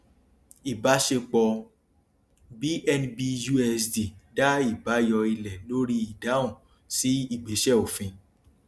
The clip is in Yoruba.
ìbáṣepọ bnbusd dá ìbáyọ ilẹ lórí ìdáhùn sí ìgbésẹ òfin